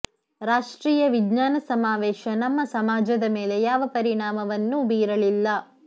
ರಾಷ್ಟ್ರೀಯ ವಿಜ್ಞಾನ ಸಮಾವೇಶ ನಮ್ಮ ಸಮಾಜದ ಮೇಲೆ ಯಾವ ಪರಿಣಾಮ ವನ್ನೂ ಬೀರಲಿಲ್ಲ